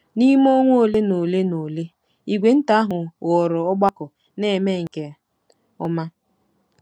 N’ime ọnwa ole na ole na ole, ìgwè nta ahụ ghọrọ ọgbakọ na-eme nke ọma.